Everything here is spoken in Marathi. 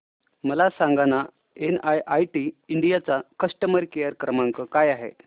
मला सांगाना एनआयआयटी इंडिया चा कस्टमर केअर क्रमांक काय आहे